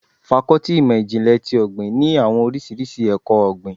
Fákọ́tì ìmọ̀ ìjìnlè ti ọ̀gbìn ní àwọn oríṣiríṣi ẹkọ-ogbin.